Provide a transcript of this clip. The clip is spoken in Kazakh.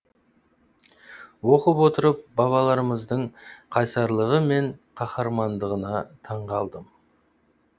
оқып отырып бабаларымыздың қайсарлығы мен қаһармандығына таңғалдым